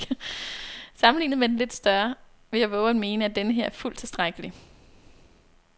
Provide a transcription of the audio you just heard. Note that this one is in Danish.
Sammenlignet med den lidt større vil jeg vove at mene, at denneher er fuldt tilstrækkelig.